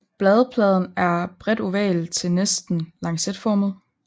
Bladpladen er bredt oval til næsten lancetformet